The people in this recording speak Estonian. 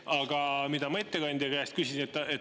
Aga mida ma ettekandja käest küsin.